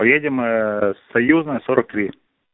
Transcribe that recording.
поедем союзная сорок три